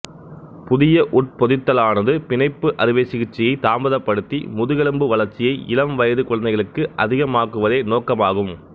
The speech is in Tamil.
புதிய உட்பொதித்தலானது பிணைப்பு அறுவை சிகிச்சையை தாமதப்படுத்தி முதுகெலும்பு வளர்ச்சியை இளம்வயது குழந்தைகளுக்கு அதிகமாக்குவதே நோக்கமாகும்